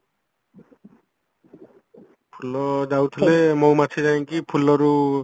ଫୁଲ ଯାଉଥିଲେ ମହୁ ମାଛି ଯାଇଙ୍କି ଫୁଲରୁ